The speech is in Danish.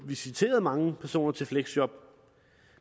visiteret mange personer til fleksjob